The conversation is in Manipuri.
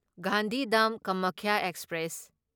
ꯒꯥꯟꯙꯤꯙꯝ ꯀꯃꯈ꯭ꯌꯥ ꯑꯦꯛꯁꯄ꯭ꯔꯦꯁ